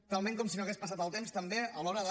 talment com si no hagués passat el temps també a l’hora de